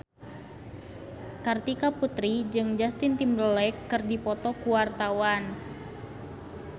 Kartika Putri jeung Justin Timberlake keur dipoto ku wartawan